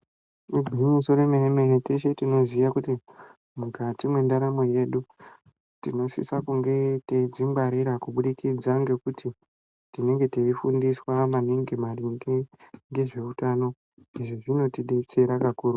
Igwinyiso re mene teshe tinoziya kuti mukati me ndaramo yedu tino sise kunge teidzi ngwarira kubudikidza ngekuti tinenge tei fundiswa maningi maringe nezve utano kuti izvi zvino tibetsera kakurutu.